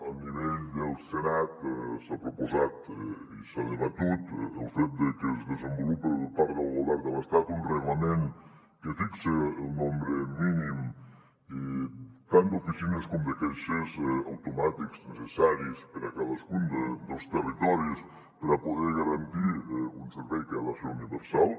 a nivell del senat s’ha proposat i s’ha debatut el fet de que es desenvolupe per part del govern de l’estat un reglament que fixe el nombre mínim tant d’oficines com de caixers automàtics necessaris per a cadascun dels territoris per a poder garantir un servei que ha de ser universal